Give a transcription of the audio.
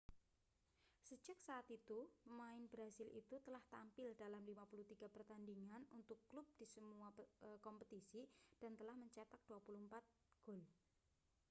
sejak saat itu pemain brasil itu telah tampil dalam 53 pertandingan untuk klub di semua kompetisi dan telah mencetak 24 gol